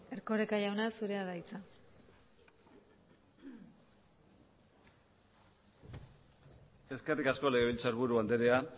erkoreka jauna zurea da hitza eskerrik asko legebiltzarburu andrea